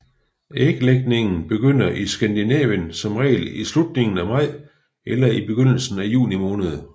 Æglægningen begynder i Skandinavien som regel i slutningen af maj eller begyndelsen af juni måned